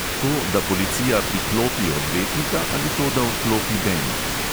To, da policija priklopi odvetnika, ali to, da odklopi bend?